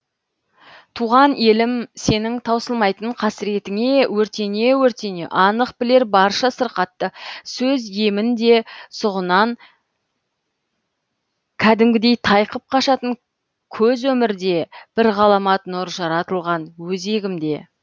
туған елім сенің таусылмайтын қасіретіңе өртене өртене анық білер барша сырқатты сөз емін де сұғынан кәдімгідей тайқып қашатын көз өмір де бір ғаламат нұр жаратылған өзегімде